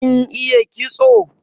Kin iya kitso?